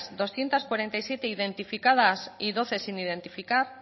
doscientos cuarenta y siete identificadas y doce sin identificar